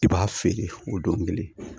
I b'a feere o don kelen